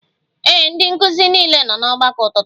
Ee, ndị nkụzi niile nọ n'ọgbakọ ụtụtụ